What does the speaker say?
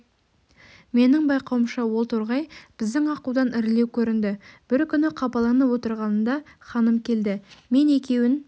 менің байқауымша ол торғай біздің аққудан ірілеу көрінді бір күні қапаланып отырғанымда ханым келді мен екеуін